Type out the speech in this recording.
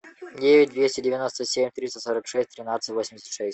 девять двести девяносто семь триста сорок шесть тринадцать восемьдесят шесть